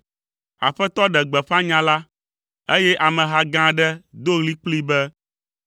Aƒetɔ ɖe gbeƒã nya la, eye ameha gã aɖe do ɣli kplii be,